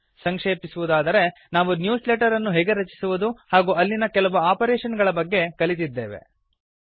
ಸಂಕ್ಷೇಪಿಸುವುದಾದರೆ ನಾವು newsletter ಅನ್ನು ಹೇಗೆ ರಚಿಸುವುದು ಹಾಗೂ ಅಲ್ಲಿನ ಕೆಲವು ಆಪರೇಶನ್ ಗಳ ಬಗ್ಗೆ ಕಲಿತಿದ್ದೇವೆ